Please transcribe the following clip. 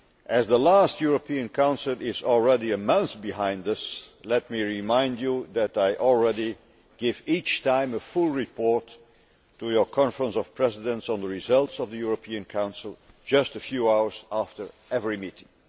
As the last European Council is already a month behind us, let me remind you that I already give a full report each time to your Conference of Presidents on the results of the European Council just a few hours after every meeting.